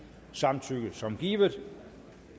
samtykke som givet